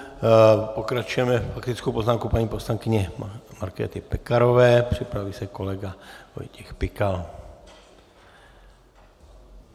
Pokračujeme faktickou poznámkou paní posĺankyní Markéty Pekarové, připraví se kolega Vojtěch Pikal.